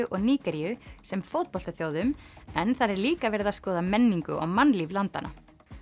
og Nígeríu sem en þar er líka verið að skoða menningu og mannlíf landanna